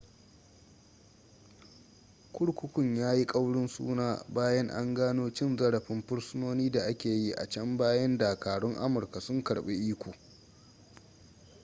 kurkukun ya yi ƙaurin suna bayan an gano cin zarafin fursunoni da ake yi a can bayan dakarun amurka sun karɓi iko